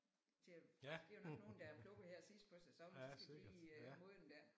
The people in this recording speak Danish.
Til at det er jo nok nogle der er plukket her sidst på sæsonen så skal de lige modne der